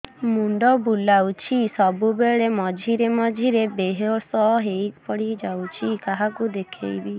ମୁଣ୍ଡ ବୁଲାଉଛି ସବୁବେଳେ ମଝିରେ ମଝିରେ ବେହୋସ ହେଇ ପଡିଯାଉଛି କାହାକୁ ଦେଖେଇବି